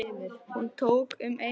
Hún tók um eyrun.